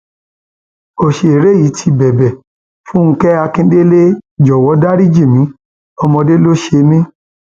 ọsẹrẹ yìí ti bẹbẹ fúnge akíndélé jọwọ dariji mi ọmọdé ló ṣe mí